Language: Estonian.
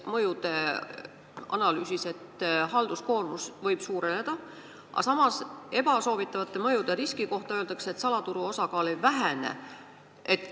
Mõjude analüüsis mööndakse, et halduskoormus võib suureneda, aga samas ebasoovitavate mõjude riski kohta öeldakse, et salaturu osakaal ei vähene.